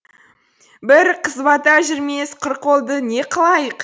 бір қызбата жүрмес құр қолдыне қылайық